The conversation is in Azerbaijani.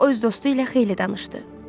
O öz dostu ilə xeyli danışdı.